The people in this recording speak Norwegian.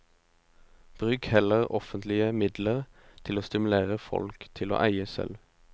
Bruk heller offentlige midler til å stimulere folk til å eie selv.